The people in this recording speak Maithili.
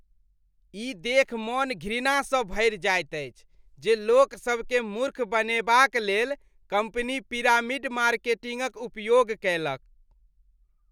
ई देखि मन घृणासँ भरि जाइत अछि जे लोकसभकेँ मूर्ख बनेबाक लेल कम्पनी पिरामिड मार्केटिंगक उपयोग कैलक।